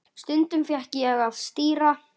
Stundum fékk ég að stýra.